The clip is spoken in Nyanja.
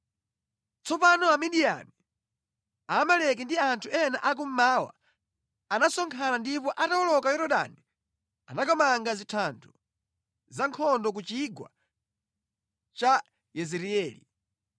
Tsopano Amidiyani, Amaleki ndi anthu ena akummawa anasonkhana ndipo atawoloka Yorodani anakamanga zinthando za nkhondo ku chigwa cha Yezireeli.